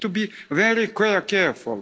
We need to be very careful.